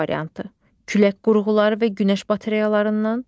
B variantı: Külək qurğuları və günəş batareyalarından.